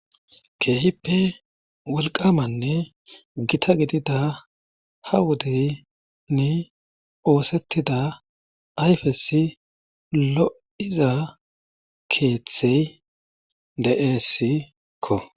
Keehippe wolqqamanne gita gidida ha wodenne oosetida ayfezi lo'izay keththay de'eesikko